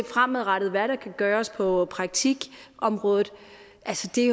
fremadrettet kan gøres på praktikområdet